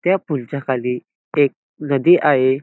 त्या पूलच्या खाली एक नदी आहे.